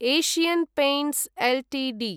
Asian Paints Ltd